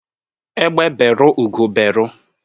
Egbe beru Ugo beru